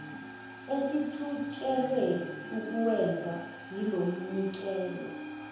esijutshelwe ukuwenza yilomnikelo